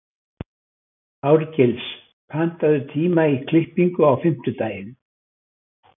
Árgils, pantaðu tíma í klippingu á fimmtudaginn.